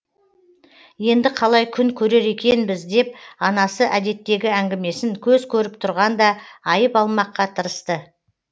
енді қалай күн көрер екенбіз деп анасы әдеттегі әңгімесін көз көріп тұрғанда айып алмаққа тырысты